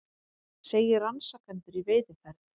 Segir rannsakendur í veiðiferð